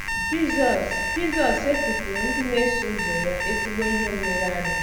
Jizọs Jizọs setịpụụrụ ndị na - eso ụzọ ya ezigbo ihe nlereanya!